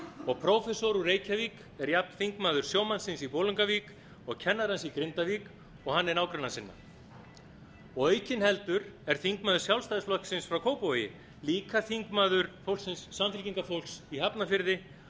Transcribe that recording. og prófessor úr reykjavík er jafnt þingmaður sjómannsins í bolungarvík og kennarans í grindavík og hann er nágranna sinna aukinheldur er þingmaður sjálfstæðisflokksins frá kópavogi líka þingmaður samfylkingarfólks í hafnarfirði